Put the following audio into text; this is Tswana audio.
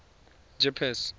jeppes